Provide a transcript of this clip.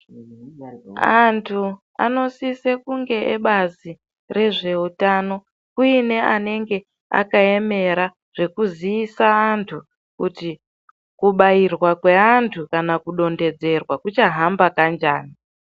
Antu anosise kunge ebazi rezveutano kuine anenge akayemera zvekuziisa wandu kuti kubayirwa kwe andu kana kudonderzerwa kuchahamba kanjani.